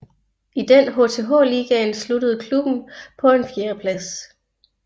I den HTH Ligaen sluttede klubben på en fjerdeplads